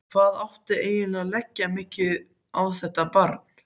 Hvað átti eiginlega að leggja mikið á þetta barn?